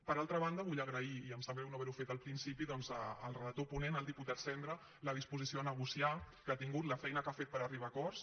per altra banda vull agrair i em sap greu no haver ho fet al principi doncs al relator ponent al diputat sendra la disposició a negociar que ha tingut la feina que ha fet per arribar a acords